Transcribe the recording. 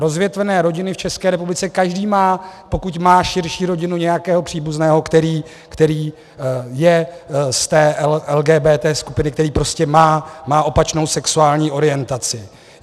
Rozvětvené rodiny v České republice, každý má, pokud má širší rodinu, nějakého příbuzného, který je z té LGBT skupiny, který prostě má opačnou sexuální orientaci.